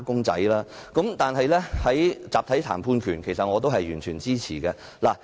在確立集體談判權方面，我也是完全支持的。